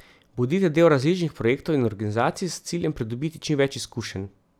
Bodite del različnih projektov in organizacij s ciljem pridobiti čim več izkušenj.